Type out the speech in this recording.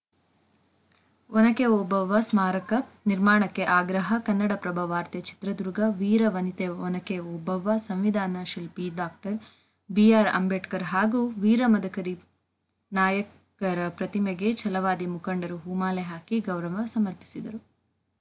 ಒನಕೆ ಓಬವ್ವ ಸ್ಮಾರಕ ನಿರ್ಮಾಣಕ್ಕೆ ಆಗ್ರಹ ಕನ್ನಡಪ್ರಭ ವಾರ್ತೆ ಚಿತ್ರದುರ್ಗ ವೀರವನಿತೆ ಒನಕೆ ಓಬವ್ವ ಸಂವಿಧಾನಶಿಲ್ಪಿ ಡಾಕ್ಟರ್ ಬಿಆರ್‌ಅಂಬೇಡ್ಕರ್‌ ಹಾಗೂ ವೀರ ಮದಕರಿನಾಯಕರ ಪ್ರತಿಮೆಗೆ ಛಲವಾದಿ ಮುಖಂಡರು ಹೂಮಾಲೆ ಹಾಕಿ ಗೌರವ ಸಮರ್ಪಿಸಿದರು